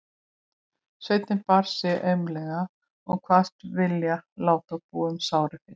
Sveinninn bar sig aumlega og kvaðst vilja láta búa um sárið fyrst.